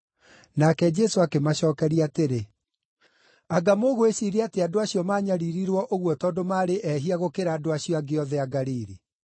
Nake Jesũ akĩmacookeria atĩrĩ, “Anga mũgwĩciiria atĩ andũ acio maanyariirirwo ũguo tondũ acio maarĩ ehia gũkĩra andũ acio angĩ othe a Galili?